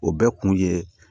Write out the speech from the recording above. O bɛɛ kun ye